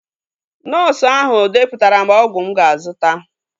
Nọọsu ahụ depụtara m ọgwụ mụ ga-azụta